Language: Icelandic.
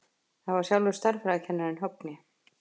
Það var sjálfur stærðfræðikennarinn, Högni.